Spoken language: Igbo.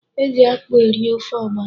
E ji akpụ eri ofe ọgbọnọ.